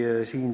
Aitäh!